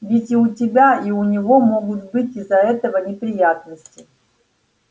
ведь и у тебя и у него могут быть из-за этого неприятности